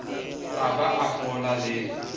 a ba a fola le